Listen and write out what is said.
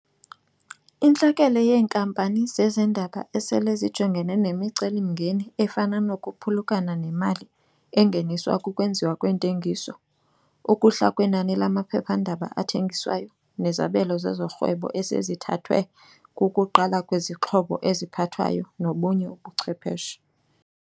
Intlekele yeenkampani zezendaba esele zijongene nemicelimngeni efana nokuphulukana nemali engeniswa kukwenziwa kweentengiso, ukuhla kwenani lamaphephandaba athengiswayo nezabelo zezorhwebo esezithathwe kukuqala kwezixhobo eziphathwayo nobunye ubuchwepheshe.